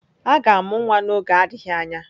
A ga-amụ nwa n'oge adịghị anya.